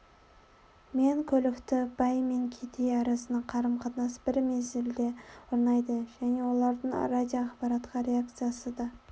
мен көлікті бай мен кедей арасында қарым-қатынас бір мезілде орнайды және олардың радиоақпаратқа реакциясы да